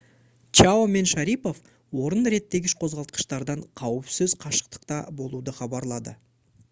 чао мен шарипов орын реттегіш қозғалтқыштардан қауіпсіз қашықтықта болуды хабарлады